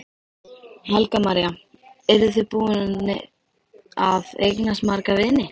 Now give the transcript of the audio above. Helga María: Eru þið búin að eignast marga vini?